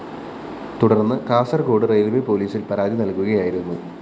തുടര്‍ന്ന് കാസര്‍കോട് റെയില്‍വെ പോലീസില്‍ പരാതി നല്‍കുകയായിരുന്നു